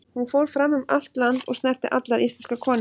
Hún fór fram um allt land, og snerti allar íslenskar konur.